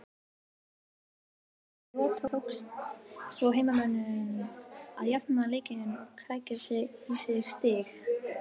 Þremur mínútum fyrir leiks lok tókst svo heimamönnum að jafna leikinn og krækja í stig